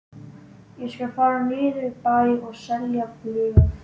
Ég skal fara niður í bæ og selja blöð.